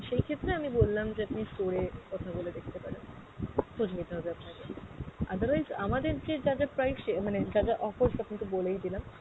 সেই ক্ষেত্রে আমি বললাম যে আপনি store এ কথা বলে দেখতে পারেন, খোঁজ নিতে হবে আপনাকে। otherwise আমাদের যে যা যা price সে মানে যা যা offers আপনাকে বলেই দিলাম